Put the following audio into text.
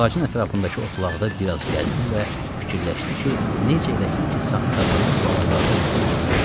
Ağacın ətrafındakı otlaqda biraz gəzdi və fikirləşdi ki, necə eləsin ki, saxsağanın balalarını tutub yesin.